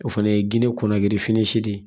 O fana ye geni kuna girifini si de ye